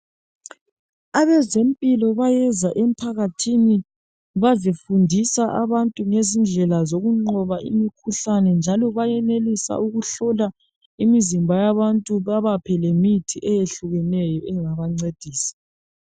Abazempilo bayeza emphakathini bazefundisa abantu ngezindlela zokunqoba imikhuhlane njalo bayenelisa ukuhlola imizimba yabantu babaphe lemithi eyehlukeneyo engabancedisa